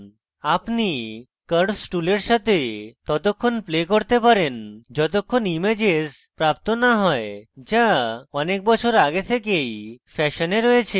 আপনি curves টুলের সাথে ততক্ষণ play করতে পারেন যতক্ষণ ইমেজেস প্রাপ্ত না you যা অনেক বছর ago থেকেই ফ্যাশনে রয়েছে